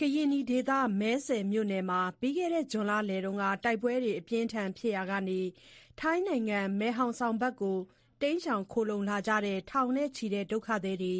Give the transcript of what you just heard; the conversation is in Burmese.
ကရင်နီဒေသ မယ်စဲ့မြို့နယ်မှာ ပြီးခဲ့တဲ့ ဇွန်လလယ်က တိုက်ပွဲတွေ အပြင်းအထန်ဖြစ်ရာက ထိုင်းနိုင်ငံ မယ်ဟောင်ဆောင်ဖက် တိမ်းရှောင်ခိုလှုံကြတဲ့ ထောင်နဲ့ချီတဲ့ ဒုက္ခသည်တွေ